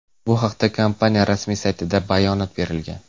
Bu haqda kompaniya rasmiy saytida bayonot berilgan .